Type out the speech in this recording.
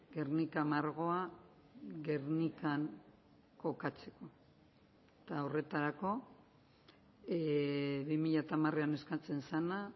guernica margoa gernikan kokatzeko eta horretarako bi mila hamaran eskatzen zena